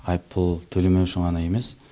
айыппұл төлемеу үшін ғана емес